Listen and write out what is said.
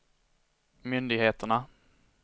myndigheterna